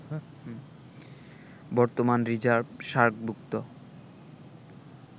বর্তমান রিজার্ভ সার্কভুক্ত